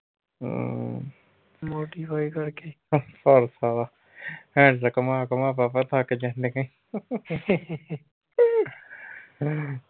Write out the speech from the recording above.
ਹਮ ਭਰਥ handle ਘੁੰਮਾ ਘੁੰਮਾ ਬਾਬਾ ਥੱਕ ਜਾਣੀਆਂ ਈ।